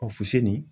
fusini